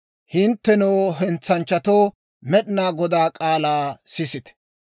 hinttenoo, hentsanchchatoo, Med'inaa Godaa k'aalaa sisite!